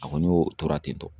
A kɔni y'o tora tentɔ